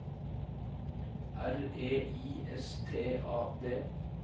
R E I S T A D